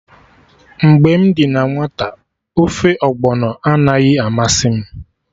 Mgbe m dị na nwata, ofe Ọgbọnọ anaghị amasị m